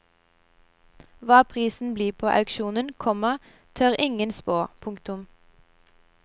Hva prisen blir på auksjonen, komma tør ingen spå. punktum